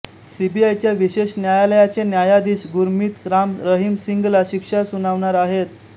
सीबीआयच्या विशेष न्यायालयाचे न्यायाधीश गुरमीत राम रहीम सिंगला शिक्षा सुनावणार आहेत